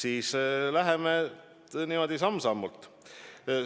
Aga läheme niimoodi samm-sammult edasi.